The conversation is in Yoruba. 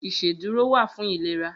Iṣédùró wà fún ilérà